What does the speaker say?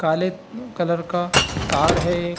काले अ कलर का तार है एक |